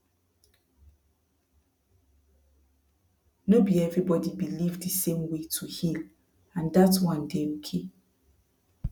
no be everybody believe the same way to heal and dat one dey okay